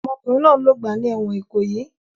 Ọmọkùnrin náà ń lògbà ní ẹ̀wọ̀n Ìkòyí.